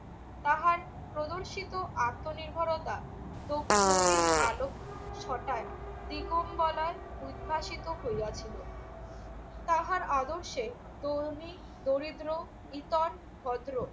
তাহার প্রদর্শিত আত্মনির্ভরতা আলোক ছটায় দিগমবলায় উদ্ভাসিত হইয়াছিল। তাহার আদর্শে থনী, দরিদ্র, ইতর, ভদ্র